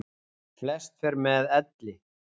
Flest fer með elli.